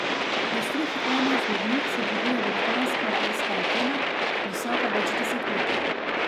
Na strehi ene izmed njih se dviguje velikanska radijska antena, visoka večdeset metrov.